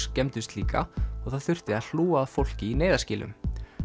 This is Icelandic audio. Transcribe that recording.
skemmdust líka og það þurfti að hlúa að fólki í neyðarskýlum